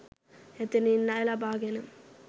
එතැනින් ණය ලබා ගෙන